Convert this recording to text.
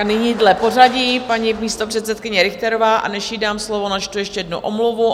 A nyní dle pořadí paní místopředsedkyně Richterová, a než jí dám slovo, načtu ještě jednu omluvu.